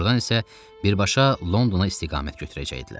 Ordan isə birbaşa Londona istiqamət götürəcəkdilər.